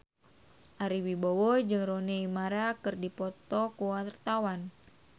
Ari Wibowo jeung Rooney Mara keur dipoto ku wartawan